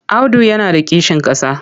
Audu yana da kishin ƙasa.